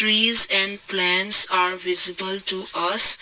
trees and plants are visible to us.